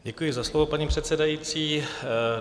Děkuji za slovo, paní předsedající.